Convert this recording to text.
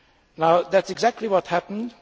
Now that is exactly what happened.